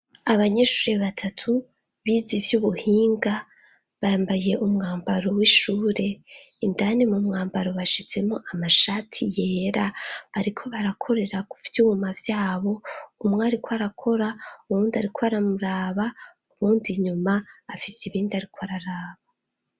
Abanyeshuri batatu, bize ivy'ubuhinga, bambaye umwambaro w'ishure, indani mu mwambaro bashizemwo amashati yera, bariko barakorera kuvyuma vyabo, umwe ariko arakora, uwundi ariko aramuraba, uwundi inyuma afise ibindi ariko araraba.